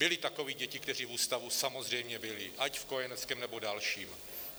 Byly takové děti, které v ústavu samozřejmě byly, ať v kojeneckém, nebo dalším.